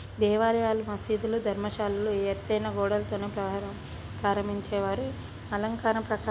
దేవాలయాలు మసీదులు ధర్మశాలలు ఎత్తైన గోడలతోనే ప్రారం ప్రారంభించేవారు అలంకారంతోపాటు.